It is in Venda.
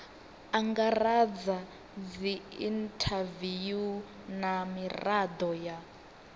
angaredza dziinthaviwu na mirado ya